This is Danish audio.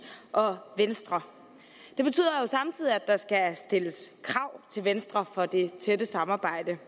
og venstre det betyder jo samtidig at der skal stilles krav til venstre for det tætte samarbejde